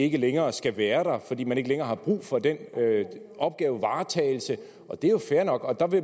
ikke længere skal være der fordi man ikke længere har brug for den opgavevaretagelse det er jo fair nok